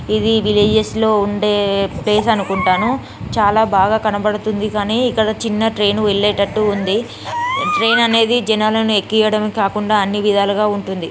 ఇది విల్లజెస్ లో ఉండే ప్లేస్ అనుకుంటాను చాలా బాగా కనపడుతుంది కానీ ఇక్కడ చిన్న ట్రైన్ వెళ్ళేటట్టు ఉంది ట్రైన్ అనేది జనాలనే ఎక్కియడం కాకుండా అన్నీ విధాలుగా ఉంటుంది.